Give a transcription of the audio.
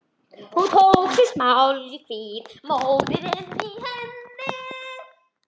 Hún tók sér málhvíld, móðirin í heiðinni.